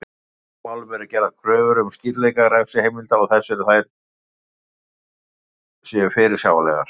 Í slíkum málum eru gerðar kröfur um skýrleika refsiheimilda og þess að þær séu fyrirsjáanlegar.